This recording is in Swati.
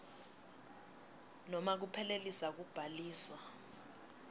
nobe kuphelisa kubhaliswa